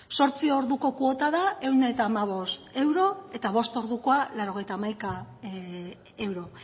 zortzi orduko kuota da ehun eta hamabost euro eta bost ordukoa laurogeita hamaika euro